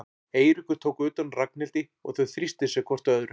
Eiríkur tók utan um Ragnhildi og þau þrýstu sér hvort að öðru.